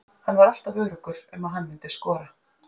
Hann var alltaf öruggur um að hann myndi skora.